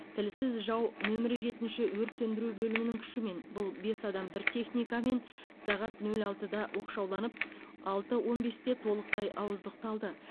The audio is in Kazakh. тілсіз жау нөмірі жетінші өрт сөндіру бөлімінің күшімен бұл бес адам бір техникамен сағат нөл алтыда оқшауланып алты он бесте толықтай ауыздықталды